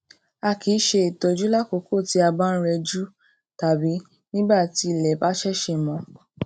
a kì í ṣe ìtọjú lákòókò tí a bá ń rẹjú tàbí nígbà tí ilè bá ṣẹṣẹ mó